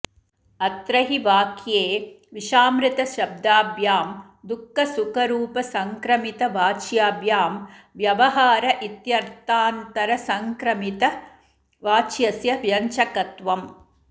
अत्र हि वाक्ये विषामृतशब्दाभ्यां दुःखसुखरूपसङ्क्रमितवाच्याभ्यां व्यवहार इत्यर्थान्तरसङ्क्रमितवाच्यस्य व्यञ्जकत्वम्